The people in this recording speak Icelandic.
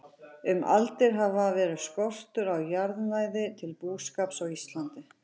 Um aldir hafði verið skortur á jarðnæði til búskapar á Íslandi.